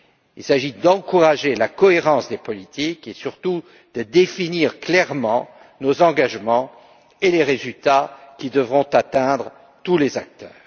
Il s'agit d'encourager la cohérence des politiques et surtout de définir clairement nos engagements et les résultats que devront atteindre tous les acteurs.